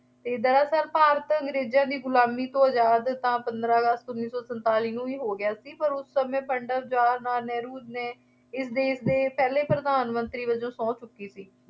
ਦਰਅਸਲ ਭਾਰਤ ਅੰਗਰੇਜ਼ਾਂ ਦੀ ਗੁਲਾਮੀ ਤੋਂ ਆਜ਼ਾਦ ਤਾਂ ਪੰਦਰਾਂ ਅਗਸਤ ਉੱਨੀ ਸੌ ਸੰਤਾਲੀ ਨੂੰ ਹੋ ਹੀ ਗਿਆ ਸੀ ਪਰ ਉਸ ਸਮੇਂ ਪੰਡਿਤ ਜਵਾਹਰ ਲਾਲ ਨਹਿਰੂ ਨੇ ਇਸ ਦੇਸ਼ ਦੇ ਪਹਿਲੇ ਪ੍ਰਧਾਨ-ਮੰਤਰੀ ਵਜੋਂ ਸਹੁੰ ਚੁੱਕੀ ਸੀ।